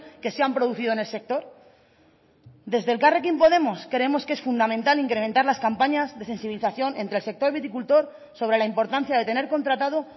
que se han producido en el sector desde elkarrekin podemos creemos que es fundamental incrementar las campañas de sensibilización entre el sector viticultor sobre la importancia de tener contratado